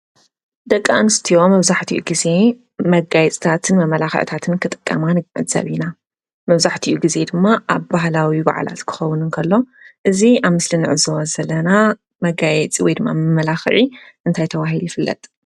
ደቂ ኣንስትዮ መብዛሕትኡ ጊዜ መጋየፅታት መመላኽዕታትን ክጥቀማ ንግንዘብ ኢና፡፡ መብዛሕቲኡ ጊዜ ድማ ኣብ ባህላዊ በዓላት ክኸውን እንከሎ እዚ ኣብ ምስሊ ንዕዘቦ ዘለና መጋየፂ ወይድማ መመላኽዒ እንታይ ተባሂሉ ይፍለጥ?